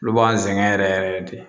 Olu b'an sɛgɛn yɛrɛ yɛrɛ de